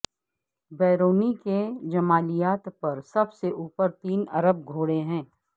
بیرونی کے جمالیات پر سب سے اوپر تین عرب گھوڑے ہے